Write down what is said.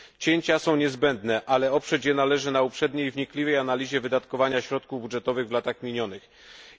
Cięcia są niezbędne, ale oprzeć je należy na uprzedniej wnikliwej analizie wydatkowania środków budżetowych w minionych latach.